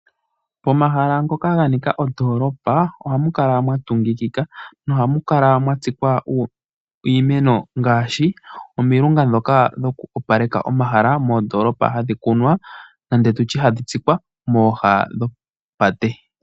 Pomahala ngoka ga nika ondoolopa ohamu kala mwa tungikika nohamu kala mwa tsikwa iimeno ngaashi omilunga ndhoka dhoku opaleka omahala moondoolopa hadhi kunwa nenge tu tye hadhi tsikwa mooha dhopate.